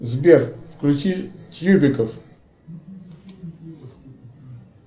сбер включи тьюбиков